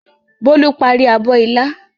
Bólú parí abọ́ ilá.